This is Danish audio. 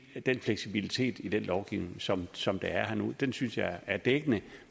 den fleksibilitet i den lovgivning som som der er nu og den synes jeg er dækkende